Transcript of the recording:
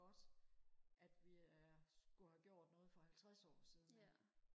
godt at vi er skulle have gjort noget for halvtreds år siden